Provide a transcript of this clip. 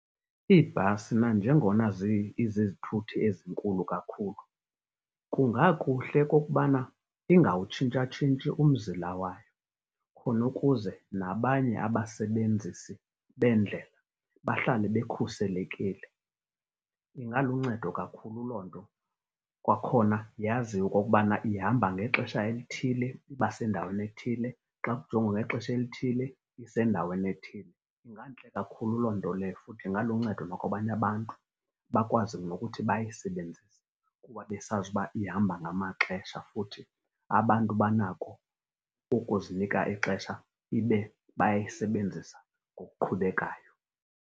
Iibhasi nanjengona izizithuthi ezinkulu kakhulu, kungakuhle okokubana ingawutshintshatshintshi umzila wayo, khona ukuze nabanye abasebenzisi beendlela bahlale bekhuselekile. Ingaluncedo kakhulu loo nto, kwakhona yaziwe okokubana ihamba ngexesha elithile iba sendaweni ethile, xa kujongwa ngexesha elithile isendaweni ethile. Ingantle kakhulu loo nto leyo futhi ingaluncedo nakwabanye abantu, bakwazi nokuthi bayisebenzise kuba besazi uba ihamba ngamaxesha. Futhi abantu banako ukuzinika ixesha, ibe bayayisebenzisa ngokuqhubelekayo.